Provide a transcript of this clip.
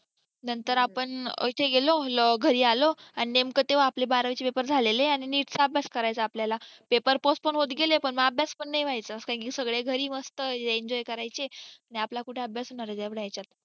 त्यानंतर आपण घरी आलो आणि नेमकं देव आपले बारावीचे पेपर झालेले आणि आणि नितका अभ्यास करायचा आपल्याला पेपर postponed होत गेले मंग अभ्यास पण नाही व्हायचा कारण की सगळे घरी मस्त enjoy करायचे आणि आपले कुठे अभ्यास करायचे इतक्या हाच्यात